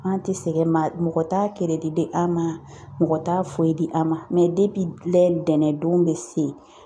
An tɛ sɛgɛn mɛ mɔgɔ t'a kɛrɛdi an ma mɔgɔ t'a foyi di a ma lɛ dɛnɛn don bɛ se